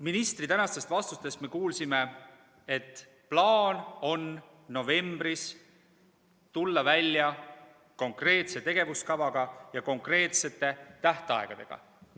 Ministri tänastest vastustest me kuulsime, et plaan on novembris tulla välja konkreetse tegevuskava ja konkreetsete tähtaegadega.